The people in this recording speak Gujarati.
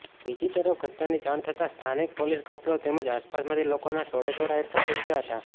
બીજીતરફ ઘટનાની જાણ થતા સ્થાનિક પોલીસ કાફલો તેમજ આસપાસમાંથી લોકોના ટોળેટોળા એકઠા થઈ ગયા હતા